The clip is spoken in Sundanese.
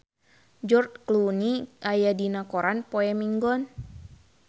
George Clooney aya dina koran poe Minggon